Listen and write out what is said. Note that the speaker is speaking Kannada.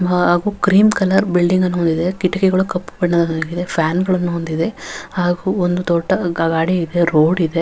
ಹಾಗು ಕ್ರೀಮ್ ಕಲರ್ ಬಿಲ್ಡಿಂಗ್ ಅನ್ನು ಹೊಂದಿದೆ ಕಿಟಕಾಯಿಗಳು ಕಪ್ಪು ಬಣ್ಣ ಹೊಂದಿದೆ ಫ್ಯಾನ್ಗಳು ಹೊಂದಿದೆ ಹಾಗು ಒಂದು ದೊಡ್ಡ ಗಾಡಿ ಇದೆ ರೋಡ್ ಇದೆ .